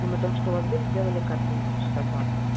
ну мы только что у вас были делали капельницу часа два